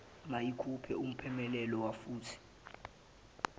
mayikuphe umphumulela wafuthi